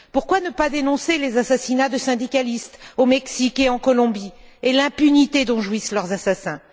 Pourquoi ne pas dénoncer les assassinats de syndicalistes au Mexique et en Colombie et l'impunité dont jouissent leurs assassins?